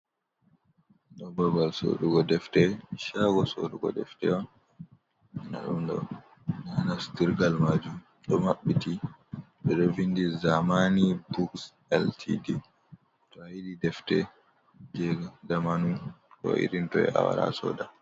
Ɗo babal sorrugo defte shaago sorrugo defte on, nda ɗum ɗo ha nasturgal majum ɗo maɓɓiti ɓe ɗo vindi zamani buks LTD, to ayiɗi defte je zamanu ko irin toi awaara asoda.